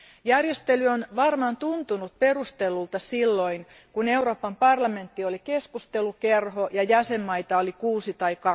Järjestely on varmaan tuntunut perustellulta silloin, kun Euroopan parlamentti oli keskustelukerho ja jäsenmaita oli 6 tai